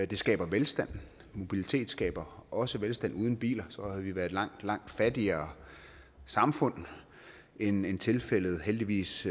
det skaber velstand mobilitet skaber også velstand uden biler havde vi været et langt langt fattigere samfund end end tilfældet heldigvis